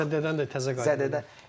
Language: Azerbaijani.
Yəni zədədən də təzə qayıdıb.